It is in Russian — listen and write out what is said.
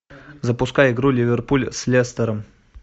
запускай игру ливерпуль с лестером